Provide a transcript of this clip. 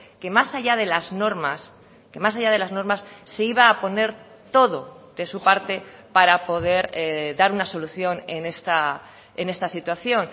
que más allá de las normas que más allá de las normas se iba a poner todo de su parte para poder dar una solución en esta situación